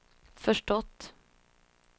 förstått